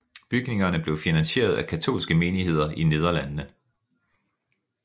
Bygningerne blev finansieret af katolske menigheder i Nederlandene